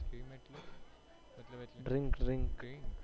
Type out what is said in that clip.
strim એટલે એટલે મતલબ